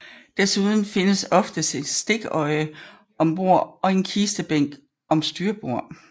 Desuden findes oftest en stikkøje om bagbord og en kistebænk om styrbord